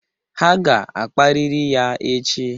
Ha ga-akparịrị ya echi